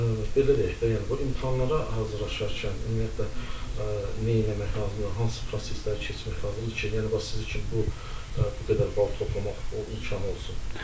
Belə deyək də, yəni bu imtahanlara hazırlaşarkən ümumiyyətlə neynəmək lazımdır, hansı prosesləri keçmək lazımdır ki, yəni bax sizin kimi bu qədər bal toplamaq imkanı olsun?